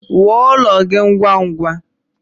Wuo ụlọ gị ngwá ngwá